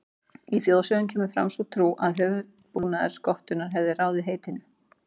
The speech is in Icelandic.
Í þjóðsögum kemur fram sú trú að höfuðbúnaður skottunnar hafi ráðið heitinu.